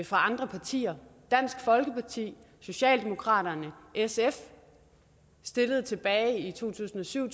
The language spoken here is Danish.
fra andre partier dansk folkeparti socialdemokratiet og sf stillede tilbage i to tusind og syv